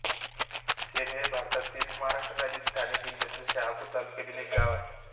शेरे हे भारतातील महाराष्ट्र राज्यातील ठाणे जिल्ह्यातील शहापूर तालुक्यातील एक गाव आहे